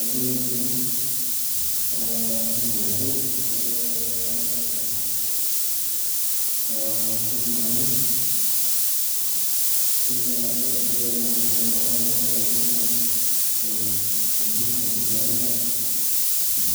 Adeegan waa wanaagsan side ugu wanagsan oo lo rari karo logana so dajin karo gariga